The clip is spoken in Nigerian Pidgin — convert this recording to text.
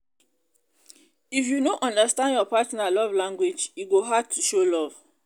if you no understand your partner love language e go hard to show love